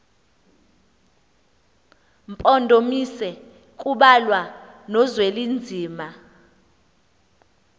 mpondomise kubalwa nozwelinzima